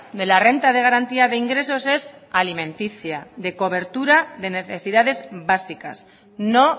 de la renta de garantía de ingresos es alimenticia de cobertura de necesidades básicas no